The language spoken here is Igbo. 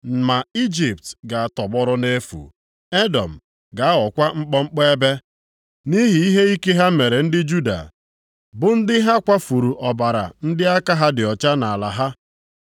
Ma Ijipt ga-atọgbọrọ nʼefu, Edọm ga-aghọkwa mkpọmkpọ ebe, nʼihi ihe ike ha mere ndị Juda, bụ ndị ha kwafuru ọbara ndị aka ha dị ọcha nʼala ha.